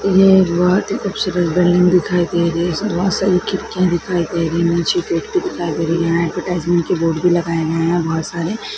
एह एक बहुत खुबसूरत बिल्डिंग दिखाई दे रही है इसमे बहुत सारी खिड्किया दिखाई दे रही है नीचे बोर्ड भी दिखाई दे रही है ऍडवरटाइज़मेंट के बोर्ड भी लगाए गए है बहोत सारे।